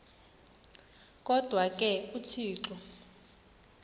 kodwa ke uthixo